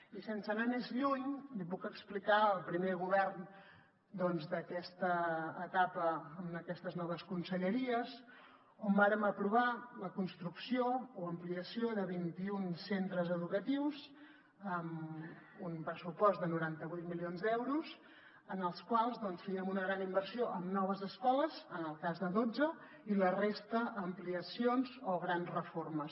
i sense anar més lluny li puc explicar el primer govern doncs d’aquesta etapa amb aquestes noves conselleries on vàrem aprovar la construcció o ampliació de vint i un centres educatius amb un pressupost de noranta vuit milions d’euros dels quals fèiem una gran inversió en noves escoles en el cas de dotze i la resta ampliacions o grans reformes